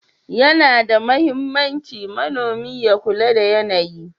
Yana da mahimmanci manomi ya kula da yanayi.